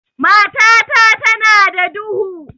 Matata tana da duhu.